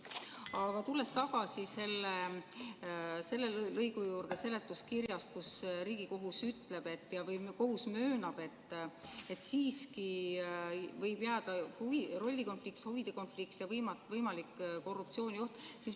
Aga tulen tagasi selle lõigu juurde seletuskirjast, kus Riigikohus ütleb, et kohus möönab, et siiski võib jääda rollikonflikt, huvide konflikt ja võimalik korruptsioonioht.